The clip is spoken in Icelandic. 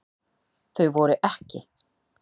Þau voru EKKI.